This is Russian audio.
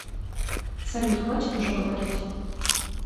салют хватит уже говорить